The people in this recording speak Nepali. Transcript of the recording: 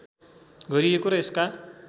गरिएको र यसका